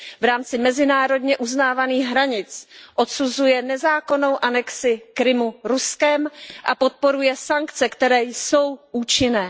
V rámci mezinárodně uznávaných hranic odsuzuje nezákonnou anexi Krymu Ruskem a podporuje sankce, které jsou účinné.